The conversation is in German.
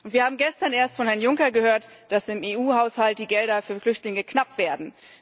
Wir haben gestern erst von Herrn Juncker gehört, dass im EU Haushalt die Gelder für Flüchtlinge knapp werden.